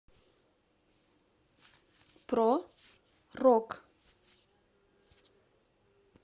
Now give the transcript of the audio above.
про рок